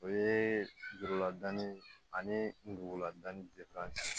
O ye juruladonni ye ani duguladanni